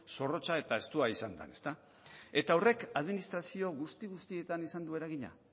zorrotza eta estua izan dan ezta eta horrek administrazio guzti guztietan izan du eragina